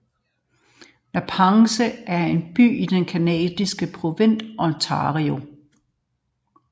Napanee er en by i den canadiske provins Ontario